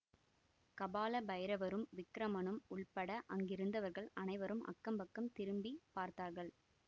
கபால பைரவரும் விக்கிரமனும் உள்பட அங்கிருந்தவர்கள் அனைவரும் அக்கம்பக்கம் திரும்பி பார்த்தார்கள்